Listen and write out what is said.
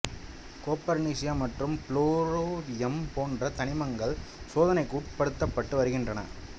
copernicium மற்றும் flerovium போன்ற தனிமங்கள் சோதனைக்கு உட்படுத்தப்பட்டு வருகின்றன